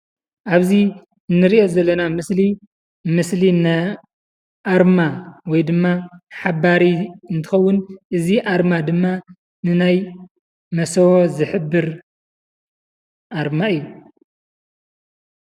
ኣብዚ እንሪኦ ዘለና ምስሊ፡ ምስሊ ኣርማ ወይ ድማ ሓባሪ እንትኸውን እዚ ኣርማ ድማ ንናይ መሰቦ ዝሕብር ኣርማ እዩ፡፡